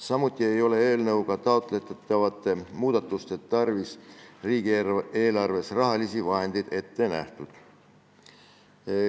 Samuti ei ole eelnõuga taotletavate muudatuste tarvis riigieelarves rahalisi vahendeid ette nähtud.